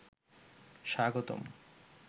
স্বাগতম